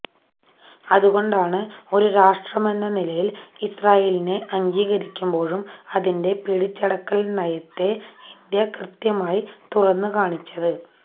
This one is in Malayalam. അതുകൊണ്ടാണ് ഒരു രാഷ്ട്രമെന്ന നിലയിൽ ഇസ്റാഈലിനെ അംഗീകരിക്കുമ്പോഴും അതിന്റെ പിടിച്ചടക്കൽ നയത്തെ ഇന്ത്യ കൃത്യമായി തുറന്ന് കാണിച്ചത്